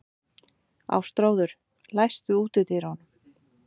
Ástráður, læstu útidyrunum.